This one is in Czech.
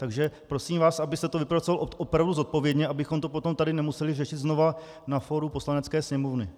Takže prosím vás, abyste to vypracoval opravdu zodpovědně, abychom to potom tady nemuseli řešit znova na fóru Poslanecké sněmovny.